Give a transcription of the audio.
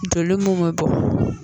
Joli mun be bɔ